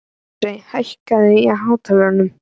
Ásleif, hækkaðu í hátalaranum.